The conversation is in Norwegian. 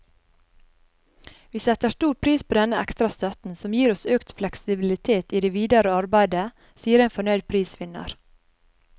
Vi setter stor pris på denne ekstra støtten, som gir oss økt fleksibilitet i det videre arbeidet, sier en fornøyd prisvinner.